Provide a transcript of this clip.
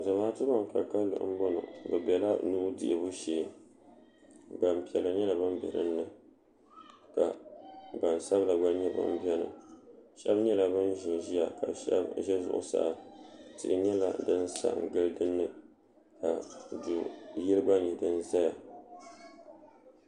zamatu ban ka kalinli n bɔŋɔ be bɛla nuhi dihibu shɛɛ gbanpiɛlla nyɛla ban bɛ dini ka gban sabila gba nyɛ ban bɛni shɛbi nyɛla ban ʒɛn ʒɛya ka shɛbi ʒɛla zuɣ' saa tihi nyɛla din sa gili dini ka do yili gban tum zaya